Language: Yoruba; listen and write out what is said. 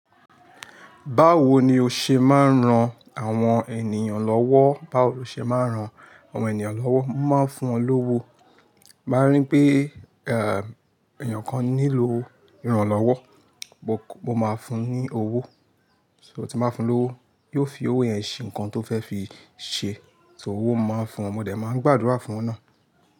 Báwo ni o ṣe máa ń ran àwọn ènìyàn lọ́wọ́? Báwo lo ṣe máa ń ran àwọn ènìyàn lọ́wọ́? Mo máa ń fún wọn lówó. Bí mo bá rí pé, ehn, ènìyàn kan nílò ìrànlọ́wọ́, mo, mo máa fún un ní owó. So tí mo bá fún un lówó, yóò fi owó yẹn ṣe nǹkan tó fẹ́ fi ṣe. Owó mo máa ń fún ọmọdé, màá ń gbàdúrà fún ọna.